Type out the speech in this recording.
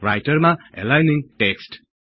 राइटरमा aligning text